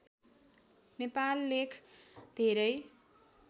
नेपाल लेख धेरै